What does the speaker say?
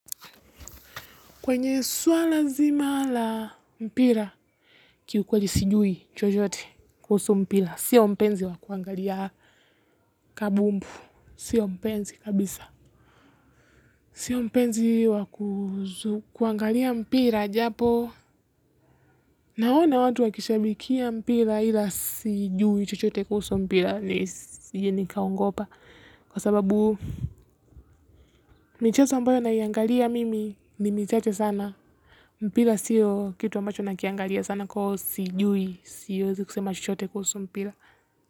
Kwenye suala nzima la mpira, kwa kweli sijuhi chochote kuhusu mpira sio mpenzi wa kuangalia kandanda. Sio mpenzi kabisa. Sio mpenzi wa kuangalia mpira japo. Naona watu wakishabikia mpira ila sijui chochote kuhusu mpira nsije nikaongopa. Kwa sababu michezo ambayo naiangalia mimi ni michache sana mpira siyo kitu ambacho nakiangalia sana kwa hio sijui siwezi kusema chochote kuhusu mpira.